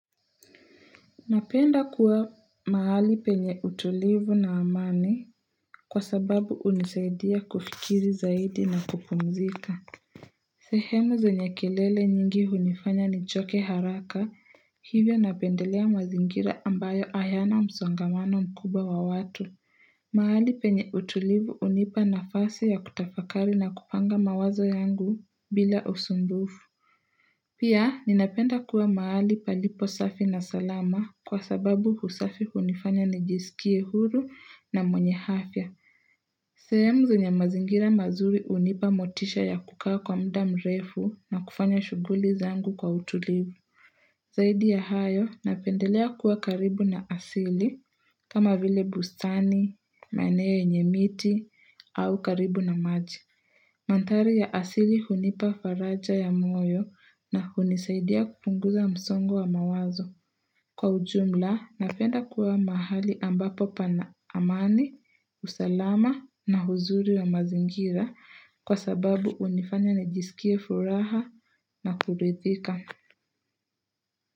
Napenda kuwa mahali penye utulivu na amani kwa sababu hunisaidia kufikiri zaidi na kupumzika. Sehemu zenye kelele nyingi hunifanya nichoke haraka, hivyo napendelea mazingira ambayo hayana msongamano mkubwa wa watu. Mahali penye utulivu hunipa nafasi ya kutafakari na kupanga mawazo yangu bila usumbufu. Pia, ninapenda kuwa mahali palipo safi na salama kwa sababu usafi hunifanya nijisikie huru na mwenye afya. Sehemu zenye mazingira mazuri hunipa motisha ya kukaa kwa muda mrefu na kufanya shughuli zangu kwa utulivu. Zaidi ya hayo, napendelea kuwa karibu na asili, kama vile bustani, maeneao yenye miti, au karibu na maji. Mandhari ya asili hunipa faraja ya moyo na hunisaidia kupunguza msongo wa mawazo. Kwa ujumla, napenda kuwa mahali ambapo pana amani, usalama na uzuri wa mazingira kwa sababu hunifanya nijisikie furaha na kuridhika.